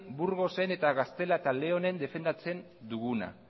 burgosen eta gaztela eta leonen defendatzen duguna